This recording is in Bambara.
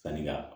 Sanni ka